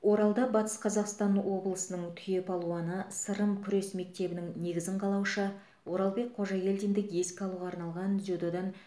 оралда батыс қазақстан облысының түйе палуаны сырым күрес мектебінің негізін қалаушы оралбек қожагелдинді еске алуға арналған дзюдодан